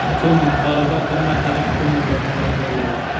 so‘m) miqdorida bir martalik pul mukofotlari beriladi.